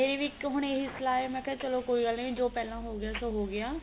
ਮੇਰੀ ਵੀ ਇੱਕ ਹੁਣ ਇਹੀ ਸਲਾਹ ਹੈ ਕੀ ਮੈਂ ਕਿਹਾ ਚਲੋ ਕੋਈ ਗੱਲ ਨੀ ਵੀ ਜੋ ਪਹਿਲਾਂ ਹੋ ਗਿਆ ਸੋ ਗਿਆ